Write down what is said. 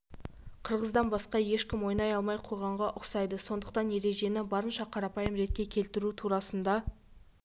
қырғыздан басқа ешкім ойнай алмай қойғанға ұқсайды сондықтан ережені барынша қарапайым ретке келтіру турасында